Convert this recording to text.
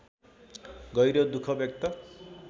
गहिरो दुःख व्यक्त